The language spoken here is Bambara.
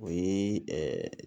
O ye ɛɛ